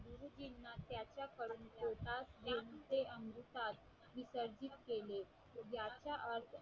अनुसार विसर्जित केले याचा अर्थ